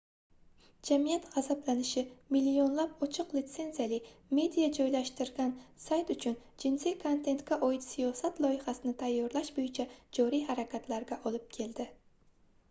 jamiyat gʻazablanishi millionlab ochiq litsenziyali media joylashtirilgan sayt uchun jinsiy kontentga oid siyosat loyihasini tayyorlash boʻyicha joriy harakatlarga olib keldi